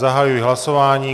Zahajuji hlasování.